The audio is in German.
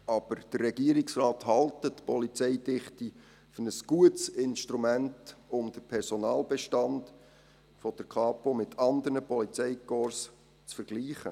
Aber der Regierungsrat hält die Polizeidichte für ein gutes Instrument, um den Personalbestand der Kapo mit anderen Polizeikorps zu vergleichen.